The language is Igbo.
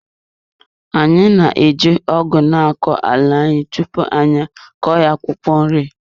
Anyị na-eji ọgu na-akọ ala anyị tupu anyị akọ ya akwụkwọ nri.